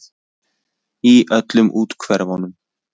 Í öllum úthverfunum.